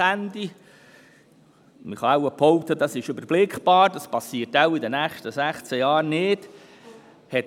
Man kann wahrscheinlich behaupten, dies sei überblickbar, sodass in den nächsten 16 Jahren nichts passiert.